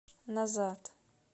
назад